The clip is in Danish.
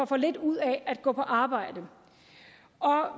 for lidt ud af at gå på arbejde